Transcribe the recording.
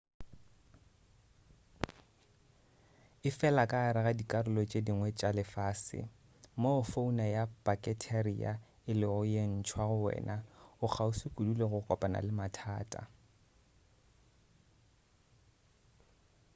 efela ka gare ga dikarolo tše dingwe tša lefase moo fauna ya paketheria e lego ye ntshwa go wena o kgauswi kudu le go kopana le mathata